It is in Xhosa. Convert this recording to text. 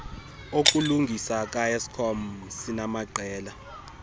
okulungisa kaeskom sinamaqela